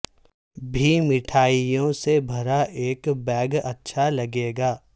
بھی مٹھائیوں سے بھرا ایک بیگ اچھا لگے گا